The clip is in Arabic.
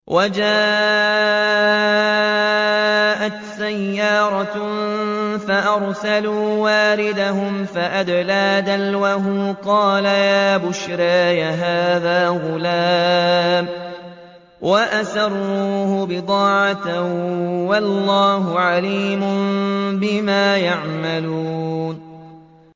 وَجَاءَتْ سَيَّارَةٌ فَأَرْسَلُوا وَارِدَهُمْ فَأَدْلَىٰ دَلْوَهُ ۖ قَالَ يَا بُشْرَىٰ هَٰذَا غُلَامٌ ۚ وَأَسَرُّوهُ بِضَاعَةً ۚ وَاللَّهُ عَلِيمٌ بِمَا يَعْمَلُونَ